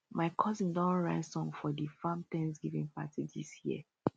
my cousin don write song for di farm thanksgiving party dis year